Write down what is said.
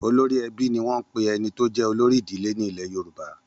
Olórí ẹbí ni wọ́n ń pè ẹni tó jẹ́ olórí ìdílé nílẹ̀ Yorùbá.